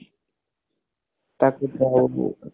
ତାକୁ